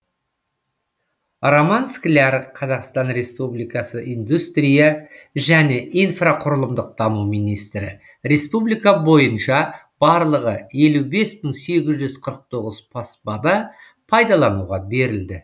роман скляр қазақстан республикасы индустрия және инфрақұрылымдық даму министрі республика бойынша барлығы елу бес мың сегіз жүз қырық тоғыз баспана пайдалануға берілді